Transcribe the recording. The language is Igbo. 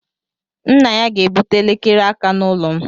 Nna ya ga-ebute elekere aka n'ụlọ m.